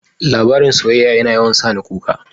Labarin soyyaya yana yawan sani kuka.